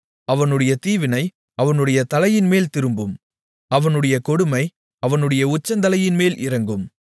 அவனுடைய தீவினை அவனுடைய தலையின்மேல் திரும்பும் அவனுடைய கொடுமை அவனுடைய உச்சந்தலையின்மேல் இறங்கும்